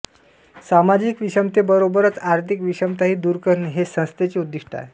सामाजिक विषमतेबरोबरच आर्थिक विषमताही दूर करणे हे संस्थेचे उद्दिष्ट आहे